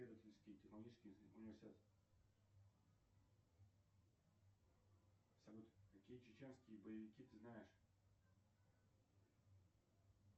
салют какие чеченские боевики ты знаешь